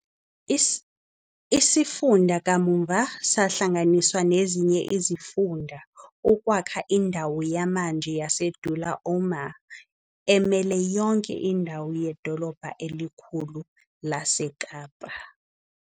Isifunda kamuva sahlanganiswa nezinye izifunda ukwakha indawo yamanje yaseDullah Omar, emele yonke indawo yedolobha elikhulu laseKapa.